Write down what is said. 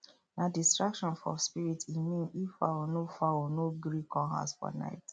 nah distraction for spirit e mean if fowl no fowl no gree come house for night